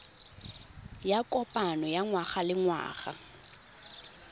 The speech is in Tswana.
ya kopano ya ngwagalengwaga ya